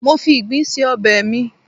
mo fi Igbin se obe mi